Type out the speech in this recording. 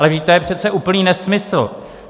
Ale vždyť to je přece úplný nesmysl.